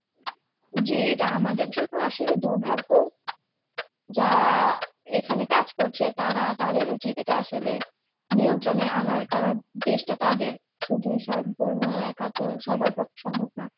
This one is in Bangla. জী এটা আমাদের জন্য আসলে দুর্ভাগ্য যারা এখানে কাজ করছে তারা তাদের উচিত এটা আসলে নিয়ন্ত্রণে আনার কারণ দেশটা তাদের শুধু সম্পূর্ণ একা তো সবার পক্ষে সম্ভব না